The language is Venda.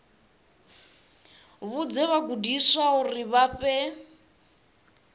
vhudze vhagudiswa uri vha fhe